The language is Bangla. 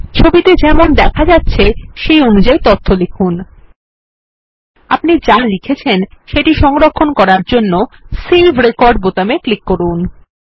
ছবিতে যেমন দেখা যাচ্ছে সেই অনুযায়ী তথ্য লিখুন ltpausegt আপনি যা লিখেছেন সেটি সংরক্ষণ করার জন্য সেভ রেকর্ড বোতামে ক্লিক করুন